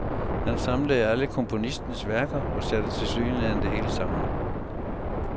Han samlede alle komponistens værker og satte tilsyneladende det hele sammen.